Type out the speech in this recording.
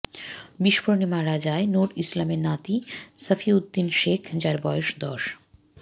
বিস্ফোরণে মারা যায় নূর ইসলামের নাতী সাফিউদদিন সেখ যার বয়স দশ বছর